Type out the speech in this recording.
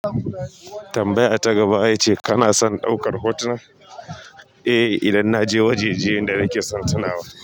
Tambaya ta gaba yace kana son ɗaukar hotuna? Eh, idan na je wajajen da nake son tuna wa.